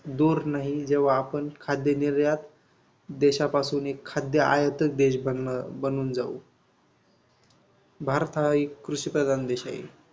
दूर नाही जेव्हा आपण खाद्यनिर्यात देशापासून खाद्यआयात देश ब बनून जाऊ. भारत हा एक कृषीप्रधान देश आहे.